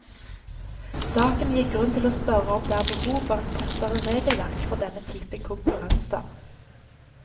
Saken gir grunn til å spørre om det er behov for et fastere regelverk for denne typen konkurranser.